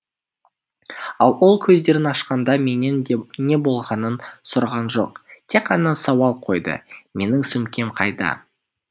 ал ол көздерін ашқанда менен де не болғанын сұраған жоқ тек қана сауал қойды менің сөмкем қайда